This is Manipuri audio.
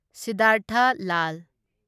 ꯁꯤꯗꯙꯥꯔꯊꯥ ꯂꯥꯜ